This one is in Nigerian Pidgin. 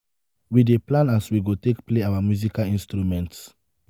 we dey plan as we go take play our musical instruments.